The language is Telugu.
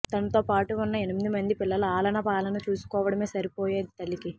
తనతో పాటు ఉన్న ఎనిమిది మంది పిల్లల ఆలనా పాలనా చూసుకోవడమే సరిపోయేది తల్లికి